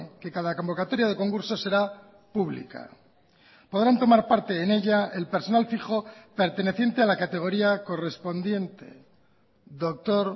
que cada convocatoria de concurso será pública podrán tomar parte en ella el personal fijo perteneciente a la categoría correspondiente doctor